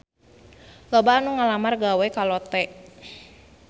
Loba anu ngalamar gawe ka Lotte